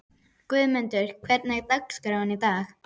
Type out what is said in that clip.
Guðmunda, hvernig er dagskráin í dag?